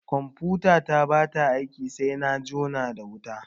Confutata ba ta aiki sai na jona da wuta.